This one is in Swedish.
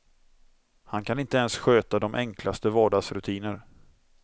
Han kan inte ens sköta de enklaste vardagsrutiner.